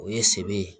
O ye sebe ye